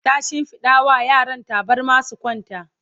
ta shimfiɗa wa yaran tabarma su kwanta